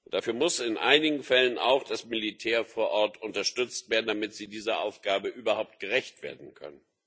Dafür muss in einigen Fällen auch das Militär vor Ort unterstützt werden, damit es dieser Aufgabe überhaupt gerecht werden kann.